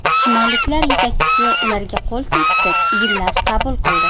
Shimolliklar yetakchisi ularga qo‘l silkitib gullar qabul qildi.